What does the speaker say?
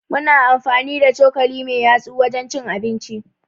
Muna amfani da cokali me ta yatsu wajen cin abinci.